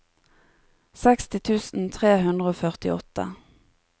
seksti tusen tre hundre og førtiåtte